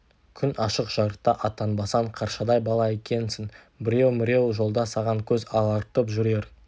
күн ашық-жарықта аттанбасаң қаршадай бала екенсің біреу-міреу жолда саған көз алартып жүрер